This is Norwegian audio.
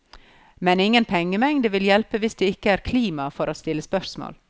Men ingen pengemengde vil hjelpe hvis det ikke er klima for å stille spørsmål.